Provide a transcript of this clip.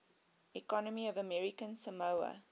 economy of american samoa